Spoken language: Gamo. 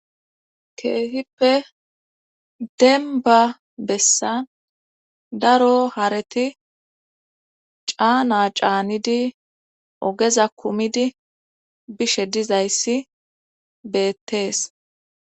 keehippe denba bessa daro hareti caana caanidi ogeza kumidi bishe dizayssi beettees